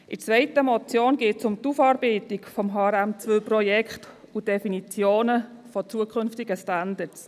Bei der zweiten Motion geht es um die Aufarbeitung des HRM2-Projekts und die Definitionen von zukünftigen Standards.